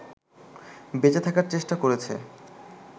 বেঁচে থাকার চেষ্টা করেছে